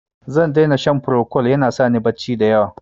Zan dai na shan Procold, ya na sa ni barci da yawa.